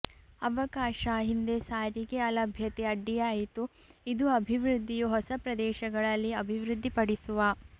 ಅವಕಾಶ ಹಿಂದೆ ಸಾರಿಗೆ ಅಲಭ್ಯತೆ ಅಡ್ಡಿಯಾಯಿತು ಇದು ಅಭಿವೃದ್ಧಿಯು ಹೊಸ ಪ್ರದೇಶಗಳಲ್ಲಿ ಅಭಿವೃದ್ಧಿ ಪಡಿಸುವ